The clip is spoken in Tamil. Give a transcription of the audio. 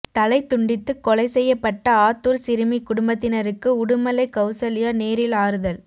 தலை துண்டித்து கொலை செய்யப்பட்ட ஆத்தூர் சிறுமி குடும்பத்தினருக்கு உடுமலை கவுசல்யா நேரில் ஆறுதல்